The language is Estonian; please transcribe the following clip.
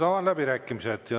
Avan läbirääkimised.